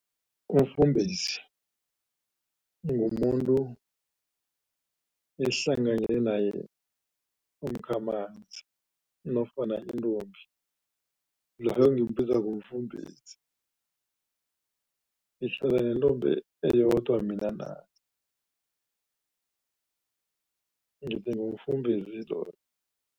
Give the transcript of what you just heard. Umfumbezi ngumuntu esihlanganyele naye umkhamanzi nofana intombi ngimbiza ngomfumbezi. Sihlala nentombi eyodwa mina naye, ngithi ngumfumbezi loyo.